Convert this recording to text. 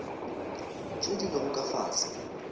tše di lego ka fase